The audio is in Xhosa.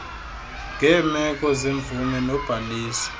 ngeemeko zemvume nobhaliso